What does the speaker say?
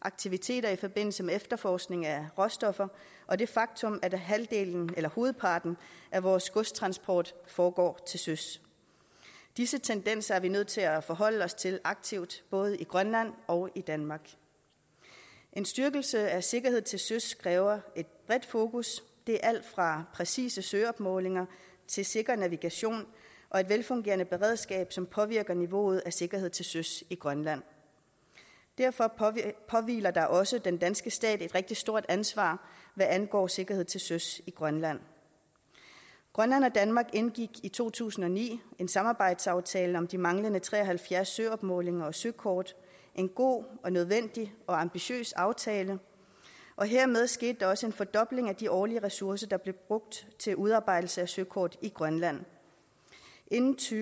aktiviteter i forbindelse med efterforskning af råstoffer og det faktum at hovedparten af vores godstransport foregår til søs disse tendenser er vi nødt til at forholde os til aktivt både i grønland og i danmark en styrkelse af sikkerheden til søs kræver et bredt fokus det er alt fra præcise søopmålinger til sikker navigation og et velfungerende beredskab som påvirker niveauet af sikkerheden til søs i grønland derfor påhviler der også den danske stat et rigtig stort ansvar hvad angår sikkerheden til søs i grønland grønland og danmark indgik i to tusind og ni en samarbejdsaftale om de manglende tre og halvfjerds søopmålinger og søkort en god og nødvendig og ambitiøs aftale og hermed skete der også en fordobling af de årlige ressourcer der blev brugt til udarbejdelse af søkort i grønland inden to